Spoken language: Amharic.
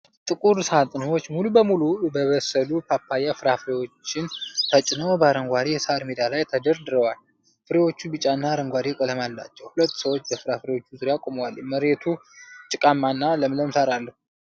ጥቁር ሳጥኖች ሙሉ በሙሉ የበሰሉ ፓፓያ ፍራፍሬዎችን ተጭነው በአረንጓዴ የሣር ሜዳ ላይ ተደርድረዋል። ፍሬዎቹ ቢጫ እና አረንጓዴ ቀለም አላቸው። ሁለት ሰዎች በፍራፍሬዎቹ ዙሪያ ቆመዋል። መሬቱ ጭቃማና ለምለም ሣር አለው።